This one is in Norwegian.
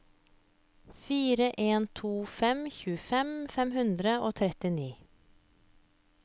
fire en to fem tjuefem fem hundre og trettini